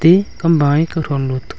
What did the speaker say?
ta Kam ba ya katho y ngan taiga.